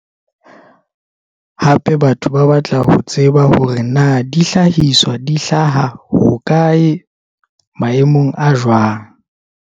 Hape batho ba batla ho tseba hore na dihlahiswa di hlaha hokae maemong a jwang.